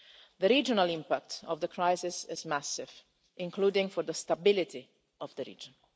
The regional impact of the crisis is massive, including for the stability of the region.